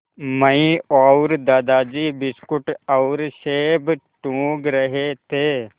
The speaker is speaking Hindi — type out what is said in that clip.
मैं और दादाजी बिस्कुट और सेब टूँग रहे थे